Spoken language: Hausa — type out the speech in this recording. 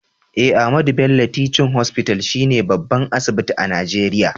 Eh, Ahmadu Bello Teaching hospital she ne babban asibiti a nageria.